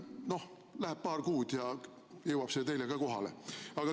No läheb paar kuud ja jõuab see kohale ka teile.